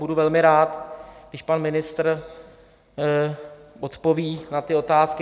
Budu velmi rád, když pan ministr odpoví na ty otázky.